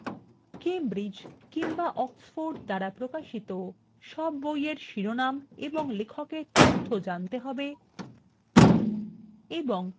Cambridge বা oxford দ্বারা প্রকাশিত সব বইয়ের শিরোনাম ও লেখকের তথ্য জানতে হবে